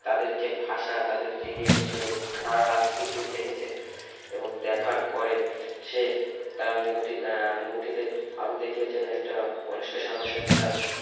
তাদের যা ভাষা তাদের যা ইয়ে সে সারারাতটি শুধু দেখেছে এবং দেখার পরে সে তার movie টি আহ movie টিতে আরো দেখিয়েছে একটা অনুষ্কা শর্মার সাথে তার